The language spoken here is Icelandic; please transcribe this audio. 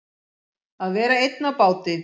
Að vera einn á báti